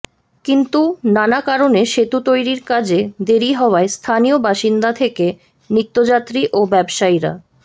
কিন্তু নানা কারণে সেতু তৈরির কাজে দেরি হওয়ায় স্থানীয় বাসিন্দা থেকে নিত্যযাত্রী ও ব্যবসায়ীরা